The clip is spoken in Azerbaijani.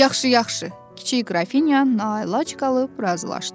Yaxşı, yaxşı, kiçik qrafinya naəlac qalıb razılaşdı.